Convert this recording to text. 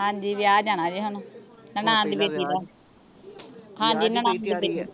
ਹਾਂਜੀ ਵਿਆਹ ਜਾਣਾ ਜੇ ਹੁਣ ਨਨਾਣ ਦੀ ਬੇਟੀ ਦਾ ਹਾਂਜੀ ਤਿਆਰੀ ਏ